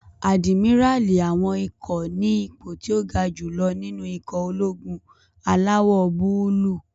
Àdìmíràlí àwọn ikọ̀ ní ipò tó ga jù lọ nínú ikọ̀ ológun alawọ̀-búúlù